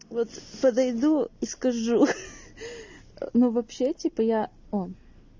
вот подойду и скажу ну вообще типа я он